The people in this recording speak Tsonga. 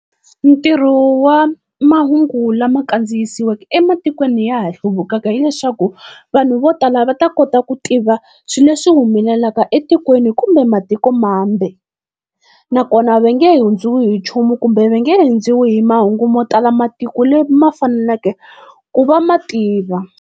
Ntirho wa mahungu lama kandziyisiweke ematikweni ya ha hluvukaka, hileswaku vanhu vo tala va ta kota ku tiva swileswi humelelaka etikweni kumbe matiko mambe. Nakona va nge hundziwi hi nchumu kumbe va nge hindziwi hi mahungu mo tala matiko leyi ma fanelaka ku va ma tiva.